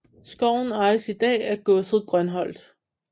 Skoven ejes i dag af godset Grønholt